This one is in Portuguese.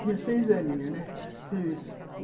Tinha seis aninhos, né?